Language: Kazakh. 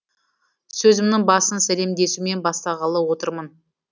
сөзімнің басын сәлемдесумен бастағалы отырмын